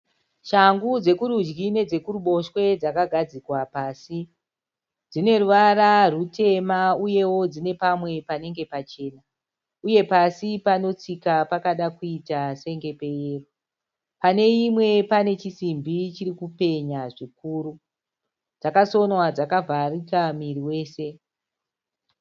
Shangu dzekurudyi nedzekuruboshwe dzakagadzikwa pasi. Dzine ruvara rutema uyewo dzine pamwe panenge pachena uye pasi panotsika pakada kuita senge peyero. Pane imwe pane chisimbi chiri kupenya zvikuru. Dzakasonwa dzakavharika muviri wese.